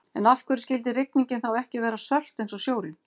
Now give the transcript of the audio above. En af hverju skyldi rigningin þá ekki vera sölt eins og sjórinn?